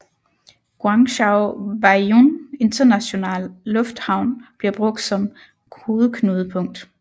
Guangzhou Baiyun Internationale Lufthavn bliver brugt som hovedknudepunkt